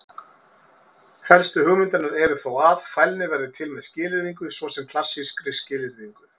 Helstu hugmyndirnar eru þó að: Fælni verði til með skilyrðingu, svo sem klassískri skilyrðingu.